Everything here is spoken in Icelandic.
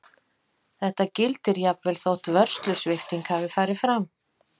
Þetta gildir jafnvel þótt vörslusvipting hafi farið fram.